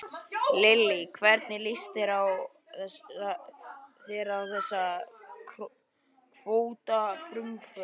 Lillý: Hvernig líst þér á þessi kvótafrumvörp?